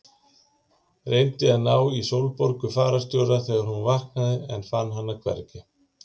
Reyndi að ná í Sólborgu fararstjóra þegar hún vaknaði en fann hana hvergi.